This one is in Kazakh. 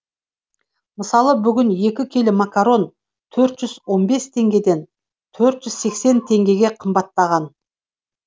мысалы бүгін екі келі макарон төрт жүз он бес теңгеден төрт жүз сексен теңгеге қымбаттаған